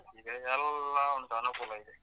ಈಗ ಎಲ್ಲ ಒಂದನುಕೂಲ ಇದೆ.